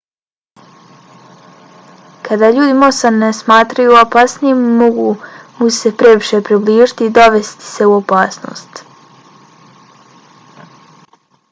kada ljudi mosa ne smatraju opasnim mogu mu se previše približiti i dovesti se u opasnost